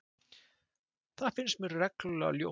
Það finnst mér reglulega ljótt.